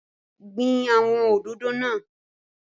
Gbin awọn òdòdó náà!